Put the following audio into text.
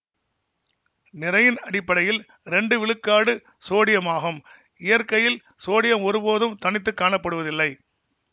நிறையின் அடிப்படையில் இரண்டு விழுக்காடு சோடியமாகும் இயற்கையில் சோடியம் ஒருபோதும் தனித்து காணப்படுவதில்லை